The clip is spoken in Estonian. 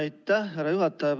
Aitäh, härra juhataja!